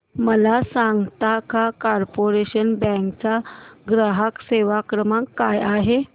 मला सांगता का कॉर्पोरेशन बँक चा ग्राहक सेवा क्रमांक काय आहे